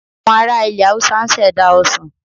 Àwọn ara ilẹ̀ Haúsá ń ṣẹ̀dá Ọsàn